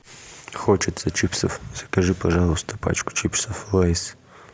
хочется чипсов закажи пожалуйста пачку чипсов лейс